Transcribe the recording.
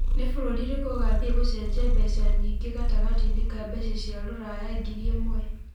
ni bũrũri ũrĩkũ ũgathĩe gũcenjia mbeca nyĩngi gatagatĩini ka mbeca cia rũraya ngĩri ĩmwe